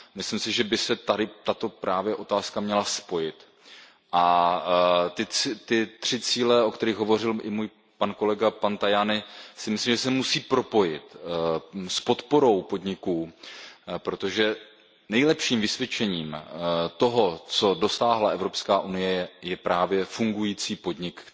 Myslím si, že by se tady tato otázka měla spojit a ty tři cíle, o kterých hovořil i můj kolega, pan Tajani, by se měly propojit s podporou podniků, protože nejlepším vysvědčením toho, co dosáhla Evropská unie, je právě fungující podnik,